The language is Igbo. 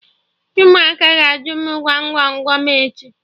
Ụmụaka ga-ajụ m Gwam Gwam Gwam echi